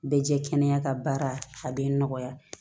Bɛ jɛ kɛnɛya ka baara a bɛ nɔgɔya